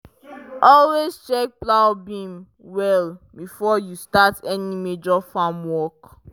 always check plow beam well before you start any major farm work.